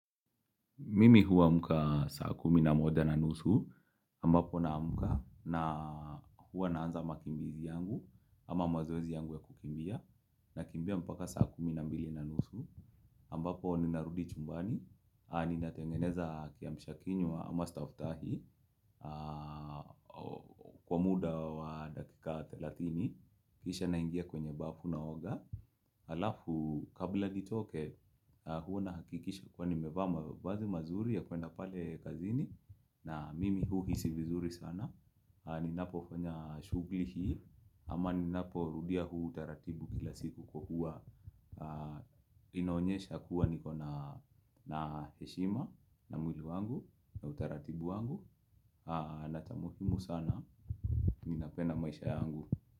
Mimi huamka saa kumi na moja na nusu ambapo naamka na huwa naanza makimbizi yangu ama mazoezi yangu ya kukimbia na kimbia mpaka saa kumi na mbili na nusu ambapo ninarudi chumbani ni natengeneza kiambisha kinywa ama staftahi kwa muda wa dakika 30 kisha naingia kwenye bafu na oga alafu kabla nitoke huww na hakikisha kwa ni mevaa mavazi mazuri ya kwenda pale kazini na mimi huhisi vizuri sana ni ninapofanya shugli hii ama ni napo rudia huu utaratibu kila siku kwa hua inaonyesha kuwa nikona na heshima na mwili wangu na utaratibu wangu na cha muhimu sana ninapenda maisha yangu.